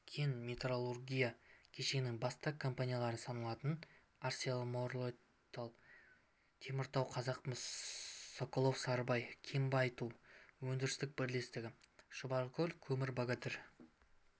кен-металлургия кешенінің басты компаниялары саналатын арселормиттал теміртау қазақмыс соколов-сарыбай кен-байыту өндірістік бірлестігі шұбаркөл көмір богатырь